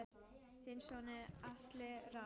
Þinn sonur Atli Rafn.